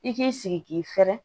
I k'i sigi k'i fɛrɛ